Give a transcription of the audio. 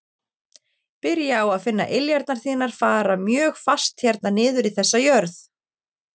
Byrja á að finna iljarnar þínar fara mjög fast hérna niður í þessa jörð.